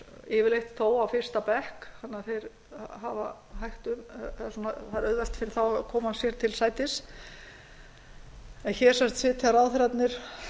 yfirleitt þó á fyrsta bekk þannig að það er auðvelt fyrir þá að koma sér til sætis en hér sitja ráðherrarnir